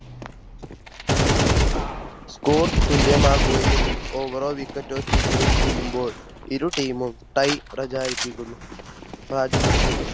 Score തുല്യമാവുകയും Over റോ wicket തീരുമ്പോൾ ഇരു Team മും Tie പ്രചരിപ്പിക്കുന്നു പ്രവചിക്കുന്നു